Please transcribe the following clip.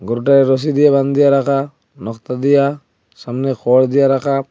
গরুটারে রশি দিয়া বান্ধিয়া রাখা দিয়া সামনে খর দিয়া রাখা।